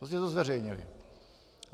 Prostě to zveřejnili.